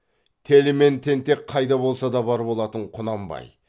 телі мен тентек қайда болсада бар болатын құнанбай